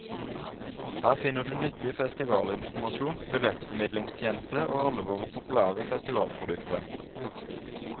Her finner du nyttig festivalinformasjon, billettformidlingstjeneste og alle våre populære festivalprodukter.